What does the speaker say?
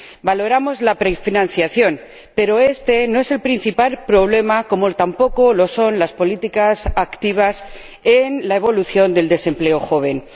Valoramos la prefinanciación, pero este no es el principal problema, como tampoco lo son las políticas activas en la evolución del desempleo juvenil.